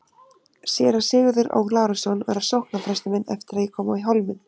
Séra Sigurður Ó. Lárusson var sóknarprestur minn eftir að ég kom í Hólminn.